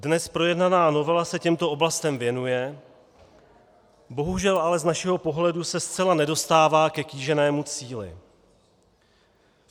Dnes projednaná novela se těmto oblastem věnuje, bohužel ale z našeho pohledu se zcela nedostává ke kýženému cíli.